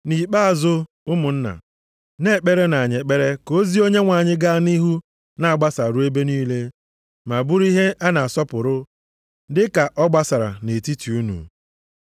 Nʼikpeazụ, ụmụnna, na-ekperenụ anyị ekpere ka ozi Onyenwe anyị gaa nʼihu na-agbasa ruo ebe niile ma bụrụ ihe a na-asọpụrụ, dị ka ọ gbasara nʼetiti unu.